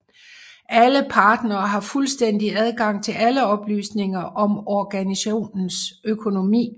Alle partnere har fuldstændig adgang til alle oplysninger om organisationens økonomi